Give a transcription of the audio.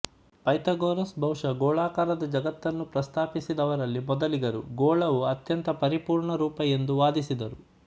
Pythagoras ಬಹುಶಃ ಗೋಳಾಕಾರದ ಜಗತ್ತನ್ನು ಪ್ರಸ್ತಾಪಿಸಿದವರಲ್ಲಿ ಮೊದಲಿಗರು ಗೋಳವು ಅತ್ಯಂತ ಪರಿಪೂರ್ಣ ರೂಪ ಎಂದು ವಾದಿಸಿದರು